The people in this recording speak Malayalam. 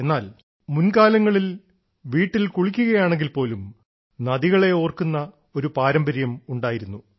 എന്നാൽ മുൻകാലങ്ങളിൽ നമ്മൾ വീട്ടിൽ കുളിക്കുകയാണെങ്കിൽ പോലും നദികളെ ഓർക്കുന്ന ഒരു പാരമ്പര്യം ഉണ്ടായിരുന്നു